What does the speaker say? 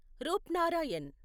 Rupnarayan